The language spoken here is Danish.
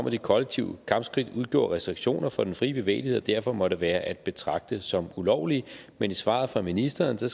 at de kollektive kampskridt udgjorde restriktioner for den frie bevægelighed og derfor måtte være at betragte som ulovlige men i svaret fra ministeren